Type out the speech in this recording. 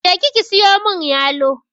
Je ki ki siyo mun yalo!